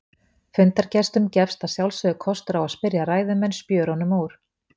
Fundargestum gefst að sjálfsögðu kostur á að spyrja ræðumenn spjörunum úr.